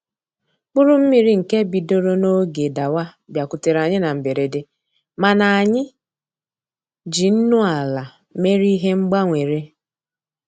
Mkpụrụ mmiri nke bidoro n'oge dawa bịakutere anyị na mberede, mana anyị ji nnu ala mere ihe mgbanwere